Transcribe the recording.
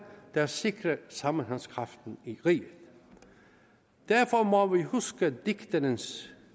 der sikrer sammenhængskraften i riget derfor må vi huske digterens